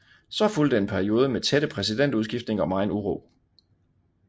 Så fulgte en periode med tætte præsidentudskiftninger og megen uro